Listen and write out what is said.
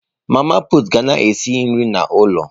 Mama pụtụ ka ga esi nri n'ụlọ.